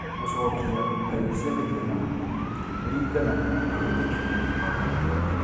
Gũcokia ngai cia mĩhianano ĩringanaga na wĩtĩkio wa mũndũ